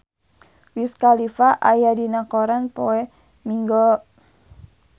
Wiz Khalifa aya dina koran poe Minggon